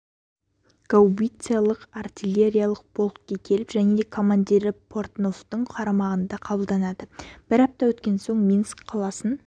гаубицалық-артилериялық полкке келіп және де командирі портновтың қарамағына қабылданады бір апта өткен соң минск қаласын